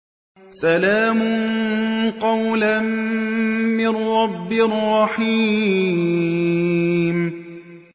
سَلَامٌ قَوْلًا مِّن رَّبٍّ رَّحِيمٍ